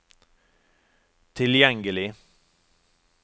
tilgjengelig